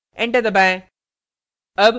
enter दबाएं